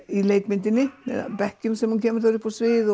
í leikmyndinni með bekkjum sem hún kemur þarna upp á svið